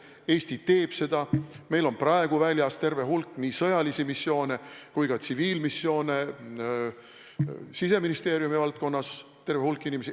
Eesti teeb seda: meil on praegu väljas terve hulk nii sõjalisi missioone kui ka tsiviilmissioone, Siseministeeriumi valdkonnas on sellega seotud terve hulk inimesi.